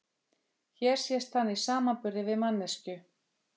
Hér sést hann í samanburði við manneskju.